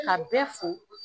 Ka bɛɛ fo